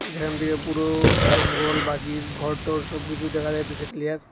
যেখান থেকে পুরো জঙ্গল বাকি ঘর টর সবকিসু দেখা যাইতেসে ক্লিয়ার ।